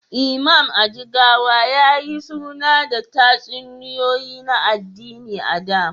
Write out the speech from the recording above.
Imam, a Jigawa, ya yi suna da tatsuniyoyi na addini a da.